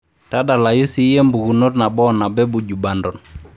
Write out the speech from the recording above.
tadalayu siiiyie impikunot nabo oo nabo ee buju banton